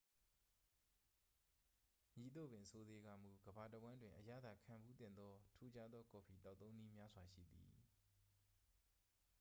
မည်သို့ပင်ဆိုစေကာမူ ကမ္ဘာတဝှမ်းတွင် အရသာခံဖူးသင့်သော ထူးခြားသောကော်ဖီသောက်သုံးနည်းများစွာရှိသည်